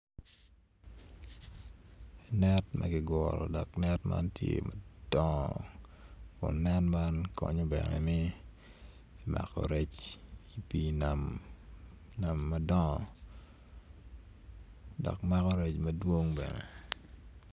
Net ma kiguro dok net man tye madongo kun net man konyo bene me mako rec pii nam nam madongo dok mako rec madongo.